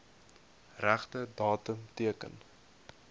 regte datum teken